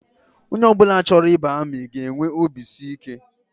Onye ọ bụla chọrọ ịba amị ga-enwe obisiike